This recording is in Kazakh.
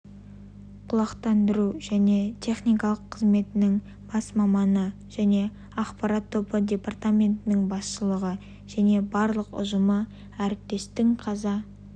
құлақтандыру және техникалық қызметінің бас маманы және ақпарат тобы департаментінің басшылығы және барлық ұжымы әріптестің қаза